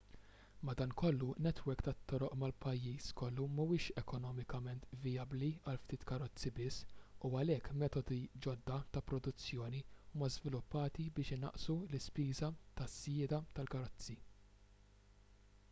madankollu netwerk tat-toroq mal-pajjiż kollu mhuwiex ekonomikament vijabbli għal ftit karozzi biss u għalhekk metodi ġodda ta' produzzjoni huma żviluppati biex inaqqsu l-ispiża tas-sjieda tal-karozza